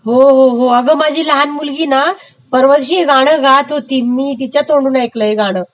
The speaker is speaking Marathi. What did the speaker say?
हो हो हो अगं माझी लहान मुलगीना परवाच्या दिवशी गातं होती हे गाणं तिच्या तोंडून ऐकलं मी हे गाणं